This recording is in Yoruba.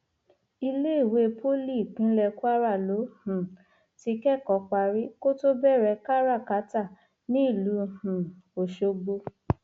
iléèwé poly ìpínlẹ kwara ló um ti kẹkọọ parí kó tó bẹrẹ kárákáta nílùú kárákáta nílùú um ọṣọgbó